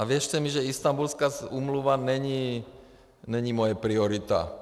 A věřte mi, že Istanbulská úmluva není moje priorita.